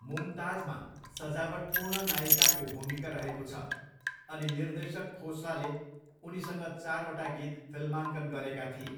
मुमताजमा सजावटपूर्ण नायिकाको भूमिका रहेको छ अनि निर्देशक खोस्लाले उनीसँग चारवटा गीत फिल्माङ्कन गरेका थिए।